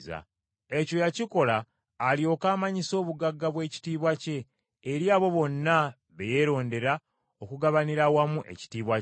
Ekyo yakikola alyoke amanyise obugagga bw’ekitiibwa kye, eri abo bonna be yeerondera okugabanira awamu ekitiibwa kye.